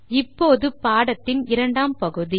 இப்போது பாடத்தின் இரண்டாம் பகுதி